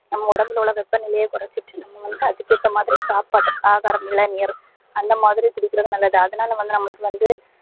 நம்ப உடம்புல உள்ள வெப்ப நிலையை கொறச்சிட்டு நம்ப வந்து அதுக்கு ஏத்தா மாதிரி சாப்பாட்ட ஆகாரம் இளநீர் அந்த மாதிரி குடிகிறது நல்லது அதுனால வந்து நம்பலுக்கு வந்து